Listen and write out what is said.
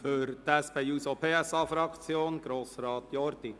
Für die SP-JUSO-PSA-Fraktion spricht Grossrat Jordi.